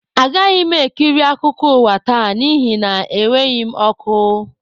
Agaghị m ekiri akụkọ ụwa taa n'ihi na enweghị m ọkụ